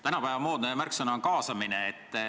Tänapäeva moodne märksõna on kaasamine.